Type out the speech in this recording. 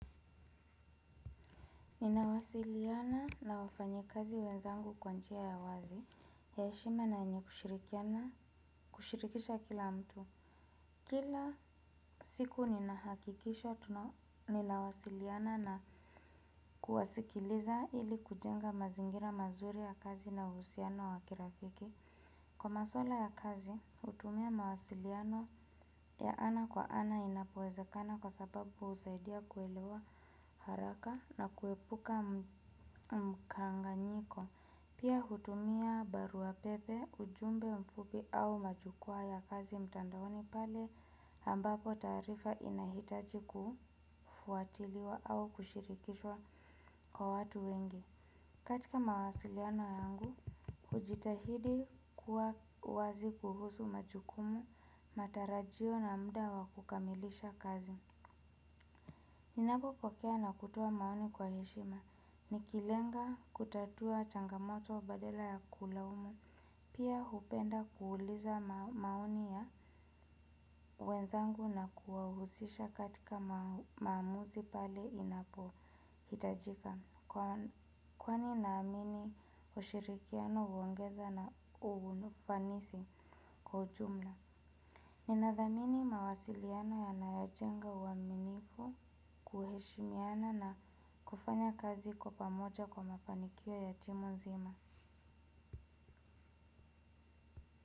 Ninawasiliana na wafanyi kazi wenzangu kwa njia ya wazi ya eshima na yenye kushirikisha kila mtu. Kila siku ninahakikisha tunawasiliana na kuwasikiliza ili kujenga mazingira mazuri ya kazi na uhusiano wa kirafiki. Kwa maswala ya kazi hutumia mawasiliano ya ana kwa ana inapowezekana kwa sababu husaidia kuelewa haraka. Na kuepuka mkanganyiko. Pia hutumia barua pepe, ujumbe mfupi au majukwa ya kazi mtandaoni pale ambapo taarifa inahitaji kufuatiliwa au kushirikishwa kwa watu wengi. Katika mawasiliano yangu, ujitahidi kuwa wazi kuhusu majukumu. Matarajio na mda wakukamilisha kazi. Ninapo pokea na kutoa maoni kwa heshima nikilenga kutatua changamoto badala ya kulaumu pia hupenda kuuliza maoni ya wenzangu na kuwahusisha katika maamuzi pale inapo hitajika. Kwani naamini ushirikiano huongeza na ufanisi kwa ujumla. Ninadhamini mawasiliano yanajenga uaminifu kuheshimiana na kufanya kazi kwa pamoja kwa mafanikio ya timu nzima.